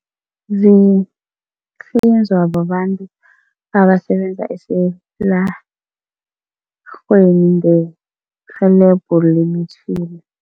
Zihlinzwa babantu abasebenza esilarheni ngerhelebho lemitjhini.